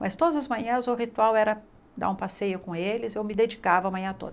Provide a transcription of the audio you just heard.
Mas todas as manhãs o ritual era dar um passeio com eles, eu me dedicava a manhã toda.